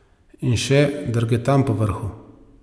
In še drgetam povrhu.